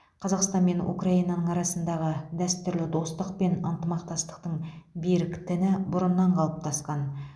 қазақстан мен украинаның арасындағы дәстүрлі достық пен ынтымақтастықтың берік тіні бұрыннан қалыптасқан